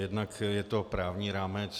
Jednak je to právní rámec.